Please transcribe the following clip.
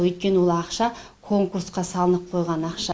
өйткені ол ақша конкурсқа салынып қойған ақша